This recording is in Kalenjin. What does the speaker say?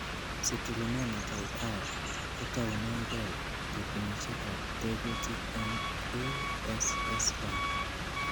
Citrullinemia type I kotounengei terchinosiekab tekutik en ASS1.